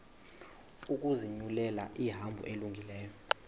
ukuzinyulela ihambo elungileyo